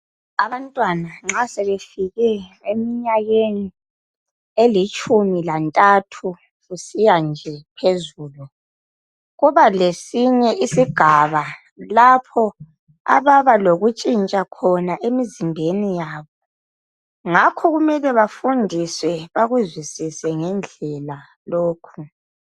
Abantwana nxa sebefike emnyakeni elitshumi lantathu kusiyaphezulu kubelesinye isigaba labo ababalokutshintsha emzimbeni yabo ngakho kumele bafundiswe bakuzwisise ngendlela lokhu .